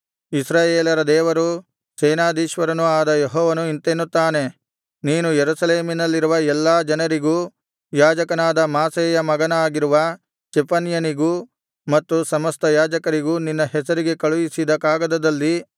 ಇಸ್ರಾಯೇಲರ ದೇವರೂ ಸೇನಾಧೀಶ್ವರನೂ ಆದ ಯೆಹೋವನು ಇಂತೆನ್ನುತ್ತಾನೆ ನೀನು ಯೆರೂಸಲೇಮಿನಲ್ಲಿರುವ ಎಲ್ಲಾ ಜನರಿಗೂ ಯಾಜಕನಾದ ಮಾಸೇಯನ ಮಗನಾಗಿರುವ ಚೆಫನ್ಯನಿಗೂ ಮತ್ತು ಸಮಸ್ತ ಯಾಜಕರಿಗೂ ನಿನ್ನ ಹೆಸರಿಗೆ ಕಳುಹಿಸಿದ ಕಾಗದದಲ್ಲಿ